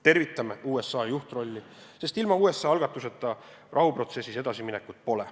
Tervitame USA juhtrolli, sest ilma USA algatuseta rahuprotsessis edasiminekut pole.